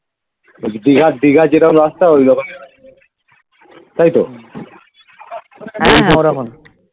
দিঘার দিঘার যেরকম রাস্তা ওই রকম তাইতো